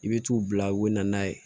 I bɛ t'u bila u bɛ na n'a ye